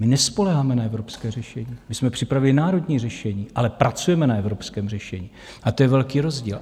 My nespoléháme na evropské řešení, my jsme připravili národní řešení, ale pracujeme na evropském řešení, a to je velký rozdíl.